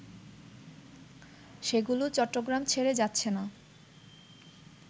সেগুলো চট্টগ্রাম ছেড়ে যাচ্ছে না